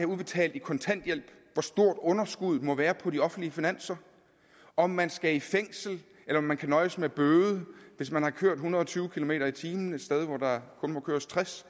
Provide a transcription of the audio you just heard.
udbetalt i kontanthjælp hvor stort underskuddet må være på de offentlige finanser om man skal i fængsel eller man kan nøjes med bøde hvis man har kørt en hundrede og tyve kilometer per time et sted hvor der kun må køres tres